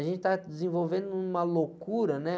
A gente tá desenvolvendo numa loucura, né?